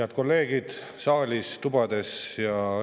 Head kolleegid saalis ja tubades!